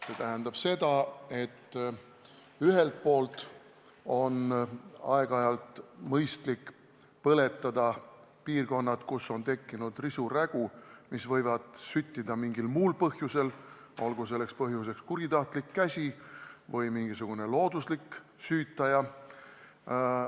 See tähendab seda, et ühelt poolt on aeg-ajalt mõistlik tekitada põleng piirkondades, kus on tekkinud risu-rägu, mis võib süttida mingil muul põhjusel, olgu selleks põhjuseks kuritahtlik käsi või mingisugune looduslik süütaja.